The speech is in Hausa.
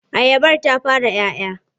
Ayabar ta fara 'ya 'ya?